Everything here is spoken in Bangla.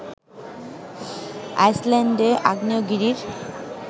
আইসল্যান্ডে আগ্নেয়গিরির